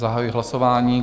Zahajuji hlasování.